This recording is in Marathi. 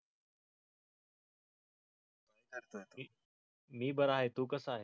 मी बरा आहे. तू कसा आहेस?